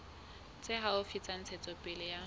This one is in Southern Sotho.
tse haufi tsa ntshetsopele ya